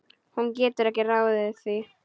Hún getur ekki ráðið því.